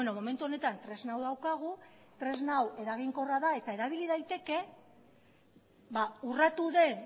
momentu honetan tresna hau daukagu tresna hau eraginkorra da eta erabili daiteke urratu den